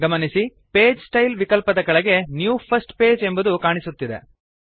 ಗಮನಿಸಿ page style ವಿಕಲ್ಪದ ಕೆಳಗೆ ನ್ಯೂ ಫರ್ಸ್ಟ್ ಪೇಜ್ ಎಂಬುದು ಕಾಣುತ್ತಿದೆ